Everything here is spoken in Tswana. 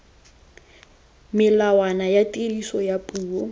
melawana ya tiriso ya puo